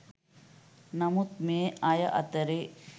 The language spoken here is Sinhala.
නමුත් මේ අය අතරේ